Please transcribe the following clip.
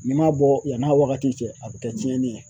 N'i m'a bɔ yann'a wagati cɛ a bɛ kɛ cɛnni ye.